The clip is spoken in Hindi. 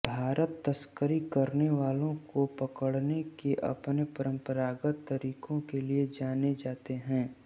भारत तस्करी करने वालों को पकड़ने के अपने अपरंपरागत तरीकों के लिए जाने जाते हैं